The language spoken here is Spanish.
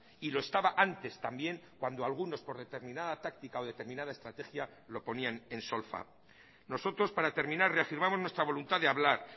y lo estaba antes también cuando algunos por determinada táctica o determinada estrategia lo ponían en solfa nosotros para terminar reafirmamos nuestra voluntad de hablar